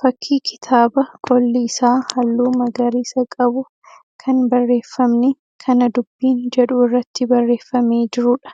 Fakkii kitaaba qolli isaa halluu magariisa qabu kan barreeffamni 'Kana Dubbiin' jedhu irratti barreeffamee jiruudha.